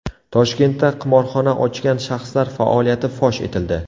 Toshkentda qimorxona ochgan shaxslar faoliyati fosh etildi.